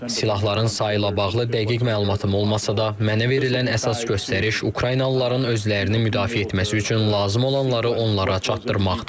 Silahların sayı ilə bağlı dəqiq məlumatım olmasa da, mənə verilən əsas göstəriş Ukraynalıların özlərini müdafiə etməsi üçün lazım olanları onlara çatdırmaqdır.